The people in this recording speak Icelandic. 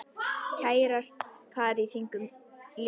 Kærast par í þingum ljómar.